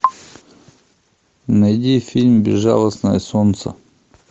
найди фильм безжалостное солнце